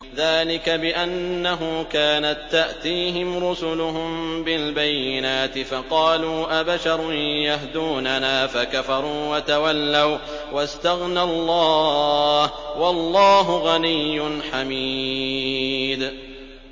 ذَٰلِكَ بِأَنَّهُ كَانَت تَّأْتِيهِمْ رُسُلُهُم بِالْبَيِّنَاتِ فَقَالُوا أَبَشَرٌ يَهْدُونَنَا فَكَفَرُوا وَتَوَلَّوا ۚ وَّاسْتَغْنَى اللَّهُ ۚ وَاللَّهُ غَنِيٌّ حَمِيدٌ